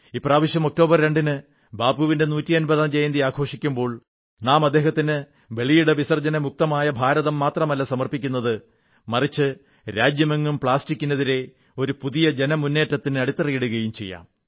ഇപ്രാവശ്യം ഒക്ടോബർ രണ്ടിന് ബാപ്പുവിന്റെ നൂറ്റിയമ്പതാം ജയന്തി ആഘോഷിക്കുമ്പോൾ നാം അദ്ദേഹത്തിന് വെളിയിട വിസർജ്യമുക്തമായ ഭാരതം മാത്രമല്ല സമർപ്പിക്കുന്നത് മറിച്ച് രാജ്യമെങ്ങും പ്ലാസ്റ്റിക്കിനെതിരെ ഒരു പുതിയ ജനമുേറ്റത്തിന് അടിത്തറയിടുകയും ചെയ്യും